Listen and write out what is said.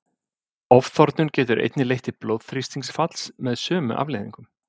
Ofþornun getur einnig leitt til blóðþrýstingsfalls með sömu afleiðingum.